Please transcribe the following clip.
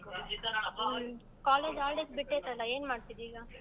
ಹ್ಮ್ college holidays ಬಿಟ್ಟೈತಲ್ಲ ಏನ್ ಮಾಡ್ತಿದ್ದೀ ಈಗ?